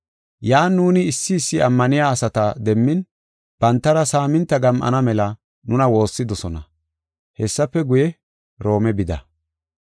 Yan nuuni issi issi ammaniya asata demmin, bantara saaminta gam7ana mela nuna woossidosona. Hessafe guye, Roome bida.